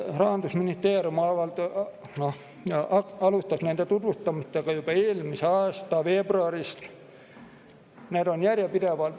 Rahandusministeerium alustas nende tutvustamist juba eelmise aasta veebruaris.